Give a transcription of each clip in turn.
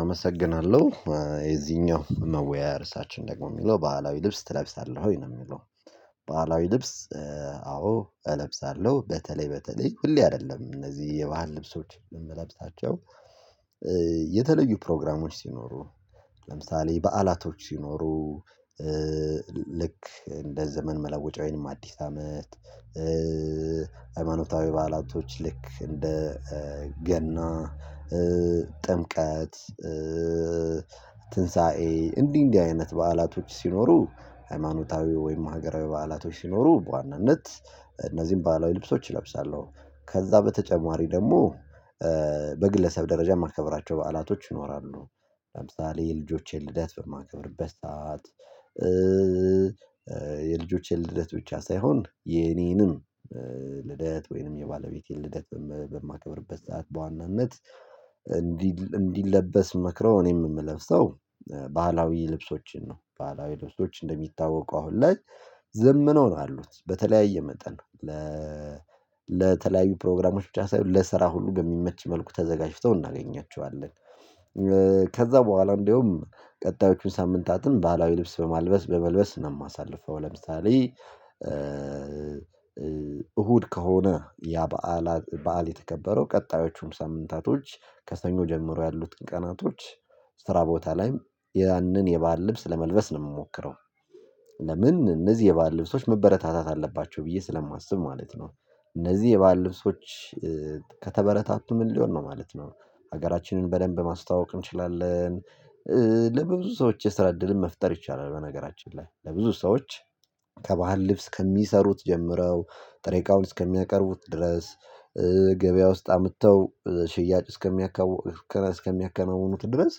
አመሰግናለሁ የዚህኛው መወያያ እርሳችን ደግሞ የሚለው ባህላዊ ልብስ ትለብሳለህ ወይ ነው የሚለው? ባህላዊ ልብስ አዎ እለብሳለሁ በተለይ በተለይ ሁሌ አይደለም እነዚህ የባህል ልብሶች የምለብሳቸው የተለዩ ፕሮግራሞች ሲኖሩ ለምሳሌ በዓላቶች ሲኖሩ ልክ እንደ ዘመን መለወጫ ወይንም ይሄንም አዲስ አመት ሃይማኖታዊ በዓላቶች ልክ እንደ ገና ጥምቀት ትንሳኤ እንዲህ እንዲህ አይነት በዓላቶች ሲኖሩ ሃይማኖታዊ ወይም ሀገራዊ በዓላቶች ሲኖሩ በዋናነት እነዚህን ባህላዊ ልብሶች እለብሳለሁ። ከዛ በተጨማሪ ደግሞ በግለሰብ ደረጃ የማከብራቸው በዓላቶች ይኖራሉ። ለምሳሌ የልጆቼን ልደት በማከብርበት በሰአት የልጆቼን ልደት ብቻ ሳይሆን የኔንም ልደት ወይንም የባለቤቴን ልደት በማከብርበት ሰዓት በዋናነት እንዲለበስ ምመክረው እኔም የምለብሰው ባህላዊ ልብሶችን ነው ባህላዊ ልብሶች እንደሚታወቁ አሁን ላይ ዘምነው ነው ያሉት በተለያየ መጠን። ለተለያዩ ፕሮግራሞች ብቻ ሳይሆን ለስራ ሁሉ በሚመች መልኩ ተዘጋጅተው እናገኛቸዋለን። ከዛ በኋላ እንድያውም ቀጣዮቹን ሳምንታትን ባህላዊ ልብስ በማልበስ በመልበስ ነው የማሳልፈው። ለምሳሌ እሁድ ከሆነ ያ በዓል በዓል የተከበረው ቀጣዮቹን ሳምንታቶች ከሰኞ ጀምሮ ያሉት ቀናቶች ስራ ቦታ ላይ ያንን የባህል ልብስ ለመልበስ ነው የምሞክረው። ለምን እነዚህ የባህል ልብሶች መበረታታት አለባቸው ብዬ ስለማስብ ማለት ነው። እነዚህ የባህል ልብሶች። ከተበረታቱ ምን ሊሆን ነው ማለት ነው? ሀገራችንን በደንብ ማስተዋወቅ እንችላለን። ለብዙ ሰዎች የሰራ ዕድልን መፍጠር ይቻላል በነገራችን ላይ ለብዙ ሰዎች ከባህል ልብስ ከሚሰሩት ጀምረው ጥሬ እቃውን እስከሚያቀርቡት ድረስ ገበያ ውስጥ አምጥተው ሽያጭ እስከሚያከናውኑት ድረስ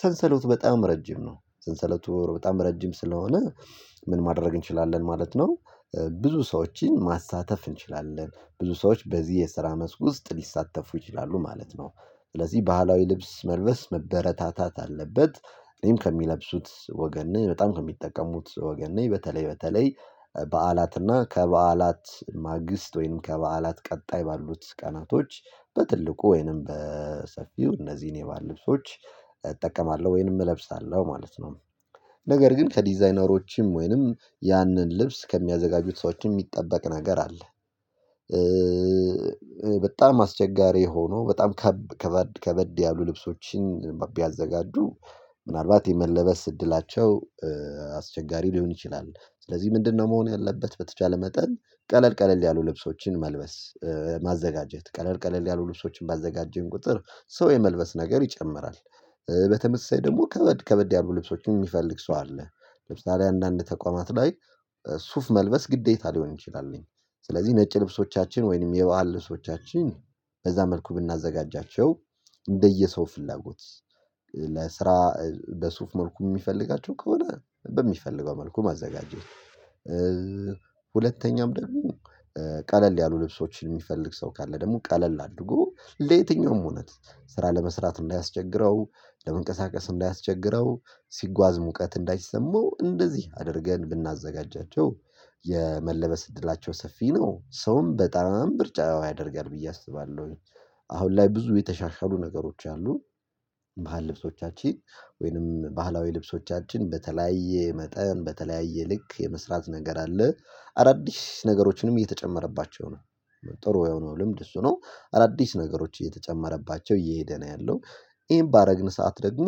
ሰንሰለቱ በጣም ረጅም ነው። ሰንሰለቱ በጣም ረጅም ስለሆነ ምን ማድረግ እንችላለን ማለት ነው? ብዙ ሰዎችን ማሳተፍ እንችላለን ብዙ ሰዎች በዚህ የስራ መስክ ውስጥ ሊሳተፉ ይችላሉ ማለት ነው። ስለዚህ ባህላዊ ልብስ መልበስ መበረታታት አለበት። እኔም ከሚለብሱት ወገን ነኝ በጣም ከሚጠቀሙት ወገን ነኝ በተለይ በተለይ በዓላትና ከበዓላት ማግስት ወይንም ከበዓላት ቀጣይ ባሉት ቀናቶች በትልቁ ወይንም በሰፊው እነዚህን የባህል ልብሶች እጠቀማለሁ ወይንም እለብሳለሁ ማለት ነው። ነገር ግን ከዲዛይነሮችም ወይንም ያንን ልብስ ከሚያዘጋጁት ሰዎች የሚጠበቅ ነገር አለ። በጣም አስቸጋሪ ሆኖ በጣም ከበድ ያሉ ልብሶችን ቢያዘጋጁ ምናልባት የመለበስ እድላቸው አስቸጋሪ ሊሆን ይችላል። ስለዚህ ምንድነው? መሆን ያለበት በተቻለ መጠን ቀለል ቀለል ያሉ ልብሶችን መልበስ ማዘጋጀት ቀለል ቀለል ያሉ ልብሶችን ባዘጋጀን ቁጥር ሰው የመልበስ ነገር ይጨምራል። በተመሳሳይ ደግሞ ከበድ ከበድ ያሉ ልብሶችን የሚፈልግ ሰው አለ። ለምሳሌ አንዳንድ ተቋማት ላይ ሱፍ መልበስ ግዴታ ሊሆን ይችላል። ስለዚህ ነጭ ልብሶቻችን ወይንም የባህል ልብሶቻችን በዛ መልኩ ብናዘጋጃቸው እንደየሰው ፍላጎት ለስራ በሱፍ መልኩ የሚፈልጋቸው ከሆነ በሚፈልገው መልኩ ማዘጋጀት። ሁለተኛም ደግሞ ቀለል ያሉ ልብሶችን የሚፈልግ ሰው ካለ ደግሞ ቀለል አድርጎ ለየትኛውም እውነት ስራ ለመስራት እንዳያስቸግረው ለመንቀሳቀስ እንዳያስቸግረው ሲጓዝ ሙቀት እንዳይሰማው እንደዚህ አድርገን ብናዘጋጃቸው። የመለበስ እድላቸው ሰፊ ነው ሰውም በጣም ምርጫው ያደርጋል ብዬ አስባለሁ። አሁን ላይ ብዙ የተሻሻሉ ነገሮች አሉ። ባህል ልብሶቻችን ወይንም ባህላዊ ልብሶቻችን በተለያየ መጠን በተለያየ ልክ የመስራት ነገር አለ። አዳዲስ ነገሮችንም እየተጨመረባቸው ነው። ጥሩ የሆነው ልምድ እሱ ነው አዳዲስ ነገሮች እየተጨመረባቸው እየሄደ ነው ያለው። ይሄን ባደረግን ሰዓት ደግሞ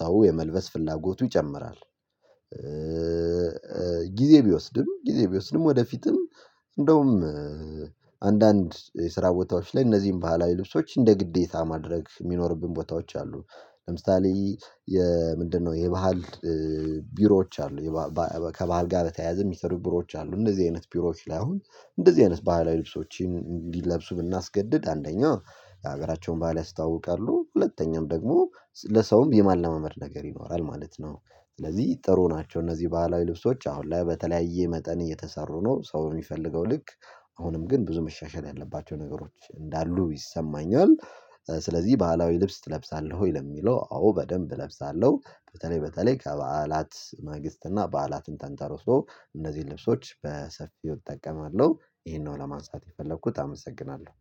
ሰው የመልበስ ፍላጎቱ ይጨምራል። ጊዜ ቢወስድም ጊዜ ቢወስድም ወደፊትም እንደውም አንዳንድ የስራ ቦታዎች ላይ እነዚህን ባህላዊ ልብሶች እንደ ግዴታ ማድረግ የሚኖርብን ቦታዎች አሉ። ለምሳሌ የምንድነው የባህል ቢሮዎች አሉ። ከባህል ጋር በተያያዘ የሚሰሩ ቢሮዎች አሉ እንደዚህ አይነት ቢሮዎች ላይ አሁን እንደዚህ አይነት ባህላዊ ልብሶችን እንዲለብሱ ብናስገድድ አንደኛ የሀገራቸውን ባህል ያስተዋውቃሉ ሁለተኛም ደግሞ ለሰውም የማላማመድ ነገር ይኖራል ማለት ነው። ስለዚህ ጥሩ ናቸው እነዚህ ባህላዊ ልብሶች አሁን ላይ በተለያየ መጠን እየተሰሩ ነው ሰው በሚፈልገው ልክ። አሁንም ግን ብዙ መሻሻል ያለባቸው ነገሮች እንዳሉ ይሰማኛል። ስለዚህ ባህላዊ ልብስ እለብሳለሁ ወይ? ለሚለው አዎ በደንብ እለብሳለሁ በተለይ በተለይ ከበዓላት ማግስት እና በዓላትን ተንተርሶ እንደዚህ ልብሶች በሰፊው እጠቀማለሁ። ይሄንን ነው ለማንሳት የፈለኩት አመሰግናለሁ